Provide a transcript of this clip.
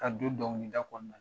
Ka don dɔnkilida kɔnɔna na.